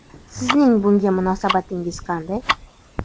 Sizning bunga munosabatingiz qanday?